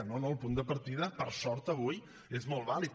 no no el punt de partida per sort avui és molt vàlid